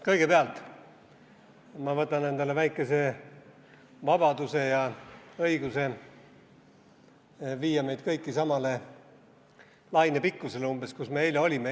Kõigepealt ma võtan endale väikese vabaduse ja õiguse viia meid kõiki umbes samale lainepikkusele, kus me eile olime.